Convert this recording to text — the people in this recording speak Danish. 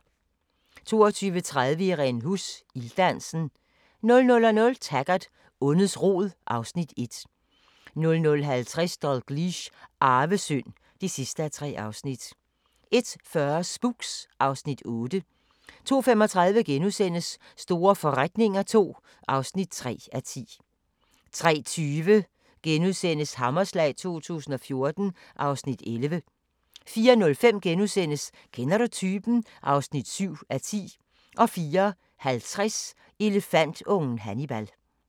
22:30: Irene Huss – Ilddansen 00:00: Taggart: Ondets rod (Afs. 1) 00:50: Dalgliesh: Arvesynd (3:3) 01:40: Spooks (Afs. 8) 02:35: Store forretninger II (3:10)* 03:20: Hammerslag 2014 (Afs. 11)* 04:05: Kender du typen? (7:10)* 04:50: Elefantungen Hannibal